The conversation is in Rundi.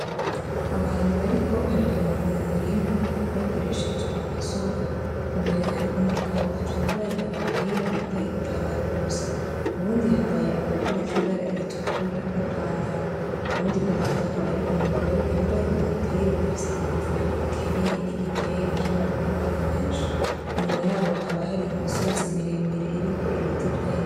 Abantu bariko bararima mu murima bakoresheje amasuka, imbere hari umugabo atambaye agapira yambaye ipantaro gusa; uwundi yambaye agapira kibara ritukura n'ipantaro; uwundi ku ruhande akaba ari umugore yambaye umupira ufise inkofero akenyeye n'igitenge kirimwo amabara menshi, inyuma yabo hakaba hari imisozi miremire iriko ibiti vyinshi.